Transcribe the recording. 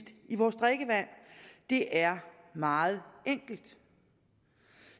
i vores drikkevand det er meget enkelt